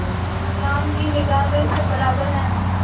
इस्लाम की निगाह में सब बराबर हैं